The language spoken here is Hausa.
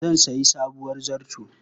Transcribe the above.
Zan sayi sabuwar zarto.